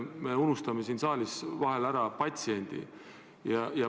Me unustame siin saalis vahel ära patsiendi.